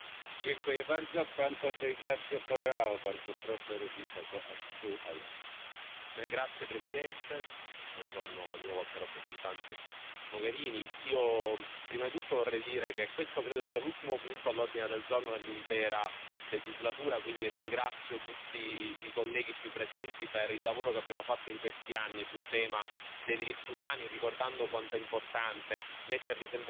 Signor Presidente, onorevoli colleghi, Alto rappresentante Mogherini, io prima di tutto vorrei dire che questo credo sia l'ultimo punto all'ordine del giorno dell'intera legislatura, quindi ringrazio tutti i colleghi qui presenti per il lavoro che abbiamo fatto in questi anni sul tema dei diritti umani, ricordando quanto è importante metterli sempre al centro delle negoziazioni commerciali con il resto